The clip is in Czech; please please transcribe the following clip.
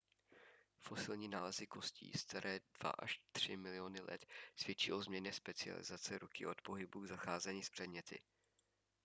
fosilní nálezy kostí staré dva až tři miliony let svědčí o změně specializace ruky od pohybu k zacházení s předměty